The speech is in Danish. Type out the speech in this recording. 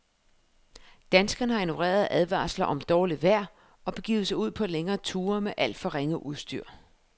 Danskerne har ignoreret advarsler om dårligt vejr og begivet sig ud på længere ture med alt for ringe udstyr.